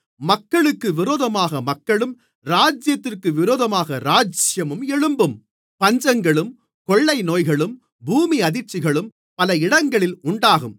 மக்களுக்கு விரோதமாக மக்களும் ராஜ்யத்திற்கு விரோதமாக ராஜ்யமும் எழும்பும் பஞ்சங்களும் கொள்ளைநோய்களும் பூமியதிர்ச்சிகளும் பல இடங்களில் உண்டாகும்